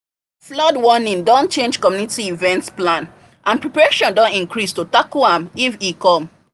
flood warning don change community event plans and preparation don increase to tackle am if e come